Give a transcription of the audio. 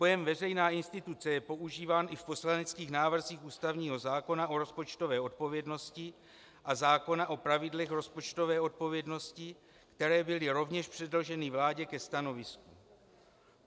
Pojem veřejná instituce je používán i v poslaneckých návrzích ústavního zákona o rozpočtové odpovědnosti a zákona o pravidlech rozpočtové odpovědnosti, které byly rovněž předloženy vládě ke stanovisku.